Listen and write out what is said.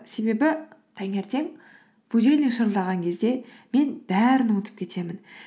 себебі таңертең будильник шырылдаған кезде мен бәрін ұмытып кетемін